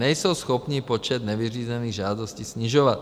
Nejsou schopni počet nevyřízených žádostí snižovat.